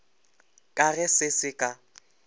ka ge se se ka